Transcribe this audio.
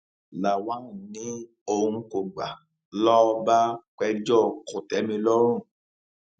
lawan ni òun kò gbà lọ bá pẹjọ kòtẹmilọrùn